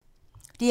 DR2